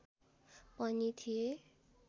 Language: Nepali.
पनि थिए